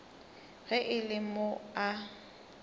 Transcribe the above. ge e le mo a